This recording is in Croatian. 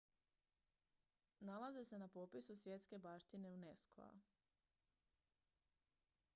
nalaze se na popisu svjetske baštine unesco-a